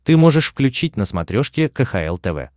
ты можешь включить на смотрешке кхл тв